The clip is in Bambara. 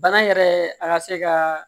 Bana yɛrɛ a ka se ka